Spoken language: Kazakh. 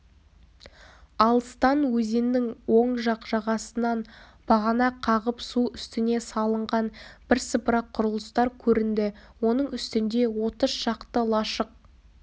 алыстан өзеннің оң жақ жағасынан бағана қағып су үстіне салынған бірсыпыра құрылыстар көрінді оның үстінде отыз шақты лашық